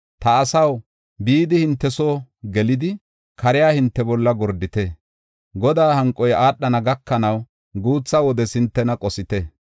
Ta asaw, bidi hinte soo gelidi, kariya hinte bolla gordite. Godaa hanqoy aadhana gakanaw, guutha wodes hintena qosite.